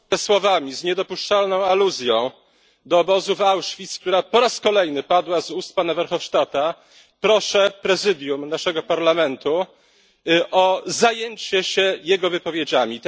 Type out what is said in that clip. ...słowami z niedopuszczalną aluzją do obozu w Auschwitz, która po raz kolejny padła z ust pana Verhofstadta, proszę Prezydium naszego Parlamentu o zajęcie się jego wypowiedziami.